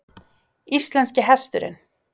Íslenski hesturinn